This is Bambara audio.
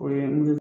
O ye